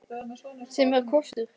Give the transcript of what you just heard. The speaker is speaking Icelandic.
Sem er kostur.